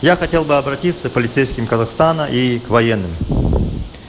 я хотел бы обратиться к полицейским казахстана и к военным